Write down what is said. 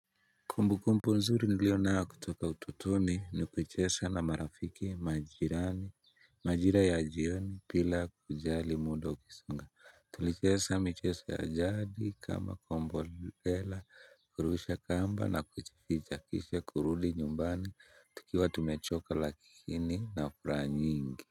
Kumbu kumbu nzuri nilio na kutoka utotoni ni kucheza na marafiki majirani. Majira ya jioni bila kujali mudo ukisonga tulicheza michezo ya jadi kama kombo lela kurusha kamba na kuchifija kisha kurudi nyumbani tukiwa tumechoka lakini na furaha nyingi.